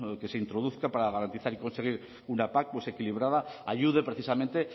que se introduzca para garantizar y conseguir una pac equilibrada ayude precisamente